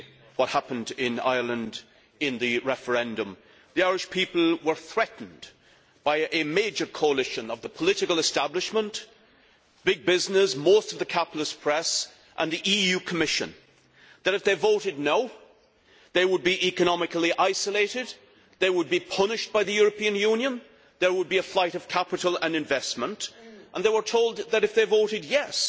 What happened in Ireland in the referendum was not a victory for democracy. The Irish people were threatened by a major coalition the political establishment, big business, most of the capitalist press and the EU Commission that if they voted no', they would be economically isolated, they would be punished by the European Union and there would be a flight of capital and investment, and they were told that if they voted yes',